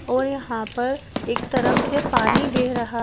और यहां पर एक तरफ से पानी बह रहा--